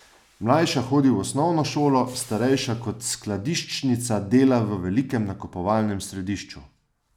Mlajša hodi v osnovno šolo, starejša kot skladiščnica dela v velikem nakupovalnem središču.